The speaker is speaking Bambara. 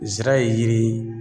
Nsira ye yiri ye